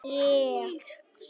Þú sem yfirgafst mig.